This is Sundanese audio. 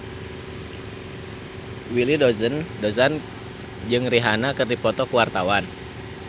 Willy Dozan jeung Rihanna keur dipoto ku wartawan